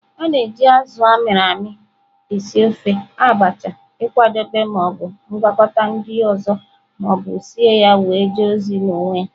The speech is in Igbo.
A na-eji azụ a mịrị amị esị ofe, Abacha, ịkwadebe ma o bụ ngwakọta ndị ọzọ ma ọ bụ sie ya wee jee ozi n'onwe ya.